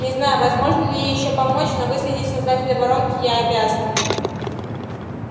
не знаю возможно ли ей ещё помочь но выследить создателя воронки я обязан